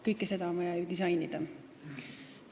Kõike seda on vaja ju disainida.